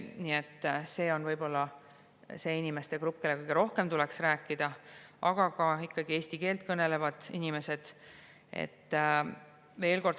Nii et see on võib-olla see inimeste grupp, kellega kõige rohkem tuleks sellel teemal rääkida, aga ka eesti keelt kõnelevad inimesed.